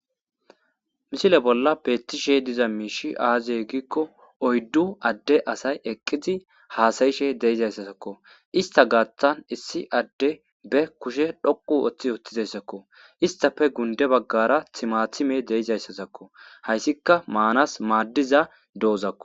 misile bolla beettishe diza miishi aaziy giikko oyddu adde asay eqqizi haasayishe deeizayssasakko ista gaaththan issi adde be kushe dhoqu oththi oththizayssakko istafe gunde baggara timathime deeizayssasakko hayssika maanas maaddiza doozakko